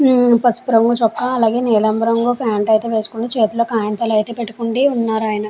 ఉమ్ పసుపు రంగు చూక అలాగే నీలం రంగు ప్యాంటు అయితే వేసుకొని చేతిల్లో అయితే పెటుకొని వున్నారు.